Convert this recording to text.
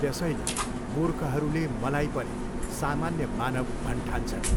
त्यसैले मुर्खहरूले मलाई पनि सामान्य मानव भन्ठान्छन्।